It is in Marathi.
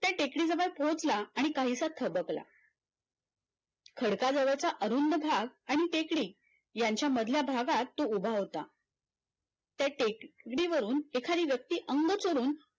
त्या टेकडीजवळ पोहचला आणि काहीसा थबकला खडकाजवळचा अरुंद भाग आणि टेकडी यांच्या मधल्या भागात तो उभा होता च्या टेकडीवरुन एखादी व्यक्ती अंग चोरून